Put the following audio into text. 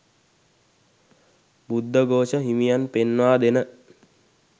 බුද්ධඝෝෂ හිමියන් පෙන්වා දෙන